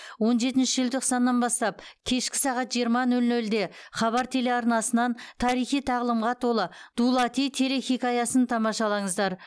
он жетінші желтоқсаннан бастап кешкі сағат жиырма нөл нөлде хабар телеарнасынан тарихи тағлымға толы дулати телехикаясын тамашалаңыздар